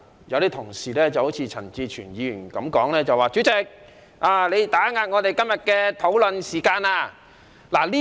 有部分同事，例如陳志全議員說主席打壓議員今天的討論時間。